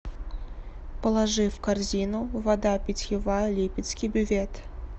положи в корзину вода питьевая липецкий бювет